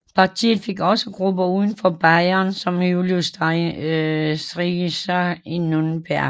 Partiet fik også grupper uden for Bayern som Julius Streicher i Nürnberg